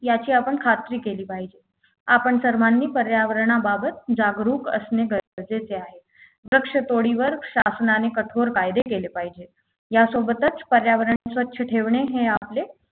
याची आपण खात्री केली पाहिजे आपण सर्वांनी पर्यावरणाबाबत जागरूक असणे गरजेचे आहे वृक्षतोडीवर शासनाने कठोर कायदे केले पाहिजे यासोबतच पर्यावरण स्वच्छ ठेवणे हे आपले